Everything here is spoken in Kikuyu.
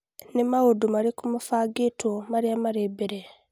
Nĩ maũndũ marĩkũ mabangĩtwo marĩa marĩ mbere